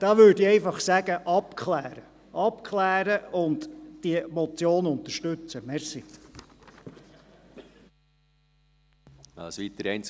Ich würde einfach sagen: Abklären und diesen Vorstoss unterstützen.